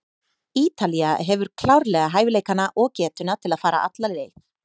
Ítalía hefur klárlega hæfileikana og getuna til að fara alla leið.